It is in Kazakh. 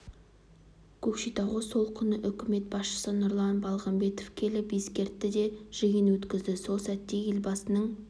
көкшетауға сол күні үкімет басшысы нұрлан балғымбаев келіп естіртті де жиын өткізді сол сәтте елбасының